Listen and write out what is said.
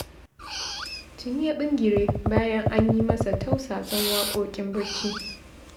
Tuni ya ɓingire bayan an yi masa tausasan waƙoƙin bacci